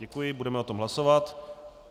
Děkuji, budeme o tom hlasovat.